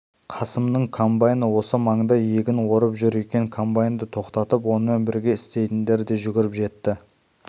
қасымның комбайны осы маңда егін орып жүр екен комбайнды тоқтатып онымен бірге істейтіндер де жүгіріп жетті